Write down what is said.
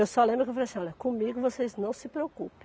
Eu só lembro que eu falei assim, olha, comigo vocês não se preocupem.